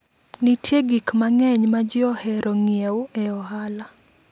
Nitie gik mang'eny ma ji ohero ng'iewo e ohala.